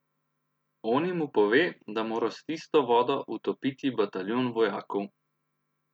Oni mu pove, da more s tisto vodo utopiti bataljon vojakov.